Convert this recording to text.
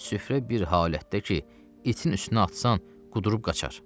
Süfrə bir halətdədir ki, itin üstünə atsan qudurub qaçar.